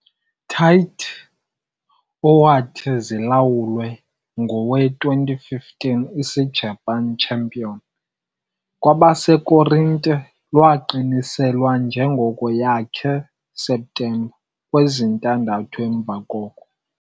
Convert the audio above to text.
Tite, owathi zilawulwe i - 2015 Isijapani champion Kwabasekorinte, lwaqiniselwa njengoko yakhe septemba kwezintandathu emva koko.